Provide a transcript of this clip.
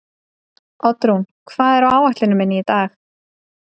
Oddrún, hvað er á áætluninni minni í dag?